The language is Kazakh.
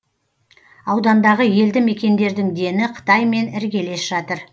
аудандағы елді мекендердің дені қытаймен іргелес жатыр